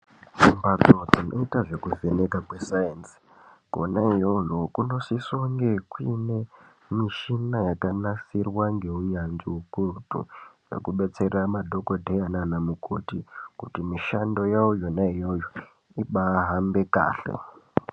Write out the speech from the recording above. Mbatso inoita zvekuvhenekwa kwesainzi kona iyoyo kunosisa kunge kuine muchina yakanasirwa ngeunyanzvi ukurutu yekudetsera madhokotera nanamukoti kuti mushando yavo yona iyoyo ibaahamba kahle.